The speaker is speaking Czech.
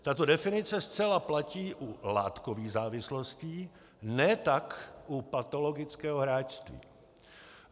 Tato definice zcela platí u látkových závislostí, ne tak u patologického hráčství.